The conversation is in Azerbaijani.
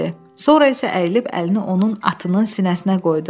Sonra isə əyilib əlini onun atının sinəsinə qoydu.